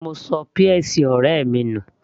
mo ṣọ peas ọ̀rẹ́ mi nù